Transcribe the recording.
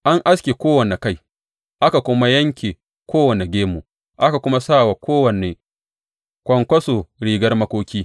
An aske kowane kai aka kuma yanke kowane gemu aka kuma sa wa kowane kwankwaso rigar makoki.